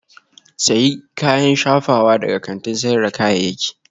Sayi kayan shafawa daga kantin sayar da kayayyaki